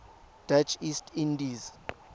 dutch east indies